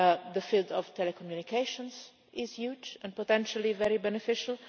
The field of telecommunications is huge and potentially very beneficial.